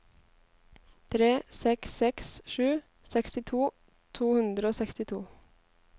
tre seks seks sju sekstito to hundre og sekstito